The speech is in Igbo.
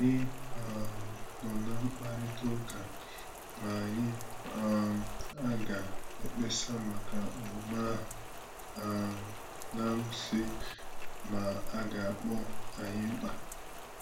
Ànyị um nọ̀ ná mkpàrịtà ụ́ka ma anyị um aga ekpesa maka omume ahu, um n'amsghi ma aga akpọ anyi mkpa